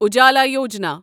Ujala Yojana